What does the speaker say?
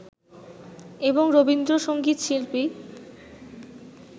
এবং রবীন্দ্র সঙ্গীত শিল্পী